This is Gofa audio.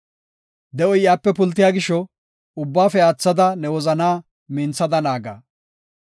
De7oy iyape pultiya gisho, ubbaafe aathada ne wozanaa minthada naaga.